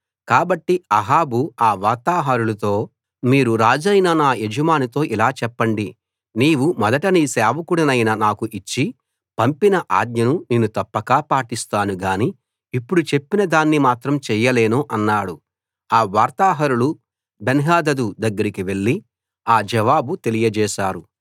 కాబట్టి అహాబు అ వార్తాహరులతో మీరు రాజైన నా యజమానితో ఇలాచెప్పండి నీవు మొదట నీ సేవకుడినైన నాకు ఇచ్చి పంపిన ఆజ్ఞను నేను తప్పక పాటిస్తాను గాని ఇప్పుడు చెప్పిన దాన్ని మాత్రం చేయలేను అన్నాడు ఆ వార్తాహరులు బెన్హదదు దగ్గరికి వెళ్లి ఆ జవాబు తెలియచేశారు